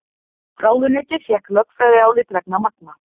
Ráðuneytið fékk lögfræðiálit vegna Magma